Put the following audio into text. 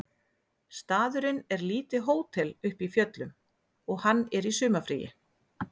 Staðurinn er lítið hótel uppi í fjöllum og hann er í sumarfríi